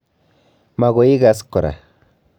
Magoi igaas kora